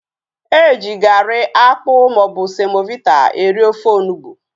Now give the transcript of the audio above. Eji garị, akpụ maọbụ semovita eri ofe onugbu